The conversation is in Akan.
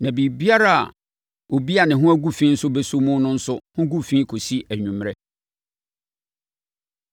Na biribiara a obi a ne ho agu fi no bɛsɔ mu no nso ho gu fi kɔsi anwummerɛ.”